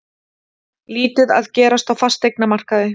Lítið að gerast á fasteignamarkaði